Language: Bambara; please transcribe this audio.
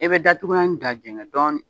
E bɛ datugunan da jɛngɛ dɔɔnin